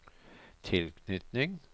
tilknytning